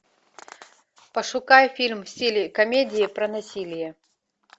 пошукай фильм в стиле комедии про насилие